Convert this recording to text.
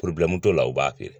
t'o la u b'a kɛ.